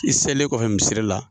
I selilen kɔfɛ misiri la